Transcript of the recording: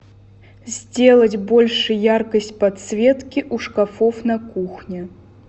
сделать больше яркость подсветки у шкафов на кухне